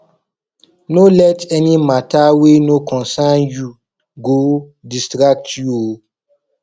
no let any mata wey no concern yu go distract yu o